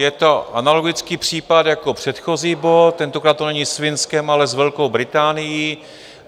Je to analogický případ jako předchozí bod, tentokrát to není s Finskem, ale s Velkou Británií.